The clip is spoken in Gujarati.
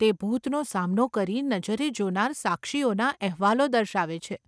તે ભૂતનો સામનો કરી નજરે જોનાર સાક્ષીઓના અહેવાલો દર્શાવે છે.